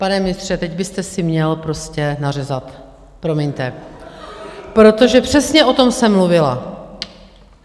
Pane ministře, teď byste si měl prostě nařezat, promiňte, protože přesně o tom jsem mluvila!